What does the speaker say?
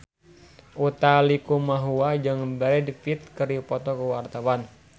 Utha Likumahua jeung Brad Pitt keur dipoto ku wartawan